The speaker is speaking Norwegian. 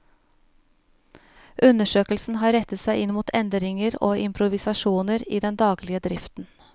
Undersøkelsen har rettet seg inn mot endringer og improvisasjoner i den daglige driften.